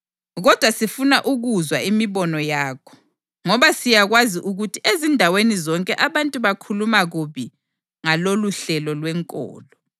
Kodwa sifuna ukuzwa imibono yakho, ngoba siyakwazi ukuthi ezindaweni zonke abantu bakhuluma kubi ngaloluhlelo lwenkolo.”